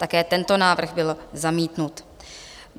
Také tento návrh byl zamítnut.